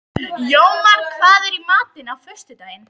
Jómar, hvað er í matinn á föstudaginn?